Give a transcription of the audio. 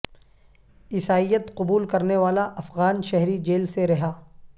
عیسائیت قبول کرنے والا افغان شہری جیل سے رہا